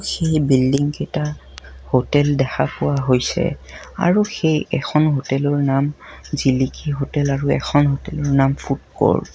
সেই বিল্ডিং কেইটা হোটেল দেখা পোৱা হৈছে আৰু সেই এখন হোটেলৰ নাম জিলিকী হোটেল আৰু এখন হোটেলৰ নাম ফুড ক'ৰ্ট ।